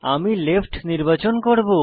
আমি লেফ্ট নির্বাচন করব